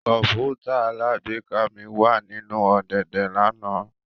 Kọǹpútà alágbèéká mi wa ninu ọ̀dẹ̀dẹ̀ lana